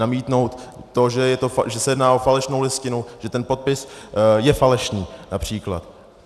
Namítnout to, že se jedná o falešnou listinu, že ten podpis je falešný například.